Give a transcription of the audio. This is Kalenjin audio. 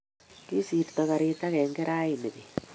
kisirto karit agenge rani beet